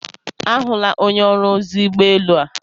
A hụla onye ọrụ ozi ụgbọelu a.